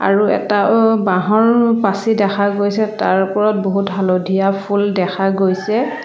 আৰু এটা অ' বাঁহৰ পাছি দেখা গৈছে তাৰ ওপৰত বহুত হালধীয়া ফুল দেখা গৈছে।